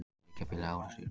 Þriggja bíla árekstur í gær